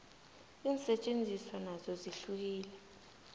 insetjenziswa nazo zihlukile